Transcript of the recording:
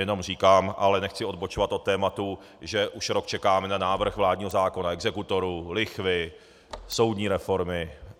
Jenom říkám, ale nechci odbočovat od tématu, že už rok čekáme na návrh vládního zákona exekutorů, lichvy, soudní reformy.